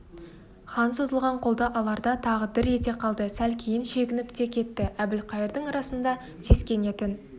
хан созылған қолды аларда тағы дір ете қалды сәл кейін шегініп те кетті әбілқайырдың расында сескенетін